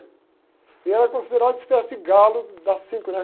E era considerada uma espécie de galo das cinco, né?